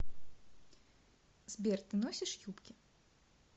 сбер ты носишь юбки